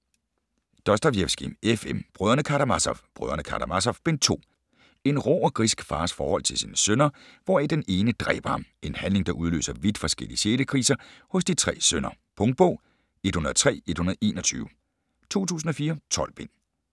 Dostojevskij, F. M.: Brødrene Karamazov: Brødrene Karamazov - Bind 2 En rå og grisk fars forhold til sine voksne sønner hvoraf den ene dræber ham - en handling der udløser vidt forskellige sjælekriser hos de tre sønner. Punktbog 103121 2004. 12 bind.